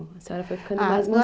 A senhora foi ficando mais